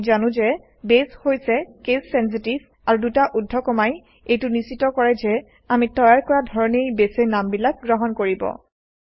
আমি জানো যে বেছ হৈছে কেছ চেনচিটিভ আৰু দুটা ঊৰ্ধ্বকমাই এইটো নিশ্চিত কৰে যে আমি তৈয়াৰ কৰা ধৰণেই বেছে নামবিলাক গ্ৰহণ কৰিব